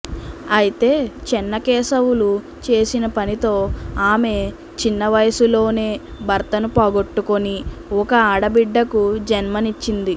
అయితే చెన్నకేశవులు చేసిన పనితో ఆమె చిన్న వయసులోనే భర్తను పోగొట్టుకొని ఒక ఆడబిడ్డకు జన్మనిచ్చింది